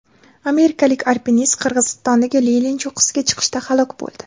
Amerikalik alpinist Qirg‘izistondagi Lenin cho‘qqisiga chiqishda halok bo‘ldi.